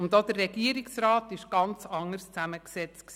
Und auch der Regierungsrat war anders zusammengesetzt.